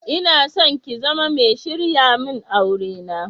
Inason ki zama mai sharyamin aure na.